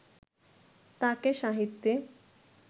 তাঁকে সাহিত্যে